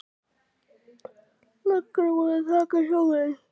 Löggan er búin að taka hjólið.